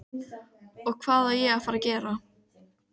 Svo hélt hann áfram að segja frægðarsögur.